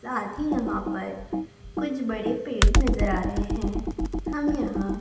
साथी यहां पर कुछ बड़े पेड़ नजर आ रहे हैं हम यहां--